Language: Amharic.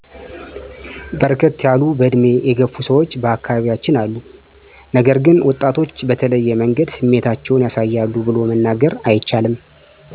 በርከት ያሉ በዕድሜ የገፉ ሰዎች በአካባቢያችን አሉ ነገር ግን ወጣቶች በተለየ መንገድ ስሜታቸውን ያሳያሉ ቡሎ ለመናገር አይቻልም።